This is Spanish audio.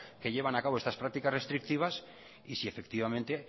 que llevan a cabo estas prácticas restrictivas y si efectivamente